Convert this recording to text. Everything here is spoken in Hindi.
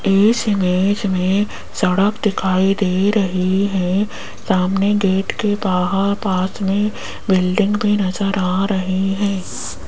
इस इमेज में सड़क दिखाई दे रही है सामने गेट के बाहर पास में बिल्डिंग भी नजर आ रहे हैं।